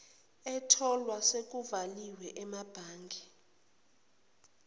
etholwe sekuvaliwe emabhange